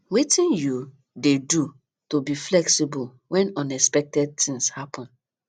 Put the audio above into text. wetin you dey do to be flexible when unexpected things happen